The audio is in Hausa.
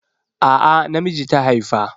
A'a na miji ta haifa.